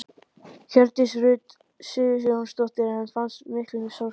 Hjördís Rut Sigurjónsdóttir: En fannst fyrir miklum sársauka?